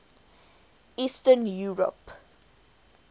eastern europe